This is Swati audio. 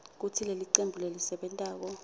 kutsi lelicembu lelisebentako